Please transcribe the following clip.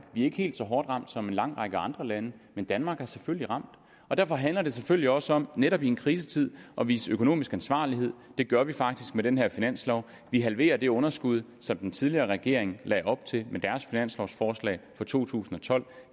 er ikke helt så hårdt ramt som en lang række andre lande men danmark er selvfølgelig ramt og derfor handler det selvfølgelig også om netop i en krisetid at vise økonomisk ansvarlighed og det gør vi faktisk med den her finanslov vi halverer det underskud som den tidligere regering lagde op til med deres finanslovforslag for to tusind og tolv